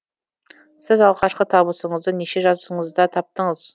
сіз алғашқы табысыңызды неше жасыңызда таптыңыз